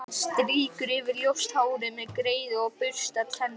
Hann strýkur yfir ljóst hárið með greiðu og burstar tennurnar.